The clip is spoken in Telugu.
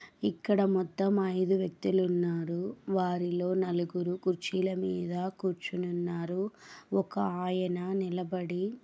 ఇక్కడ మొత్తం ఐదు వ్యక్తులున్నారు. వారిలో నలుగురు కుర్చీల మీద కూర్చుని ఉన్నారు ఒక ఆయన నిలబడి --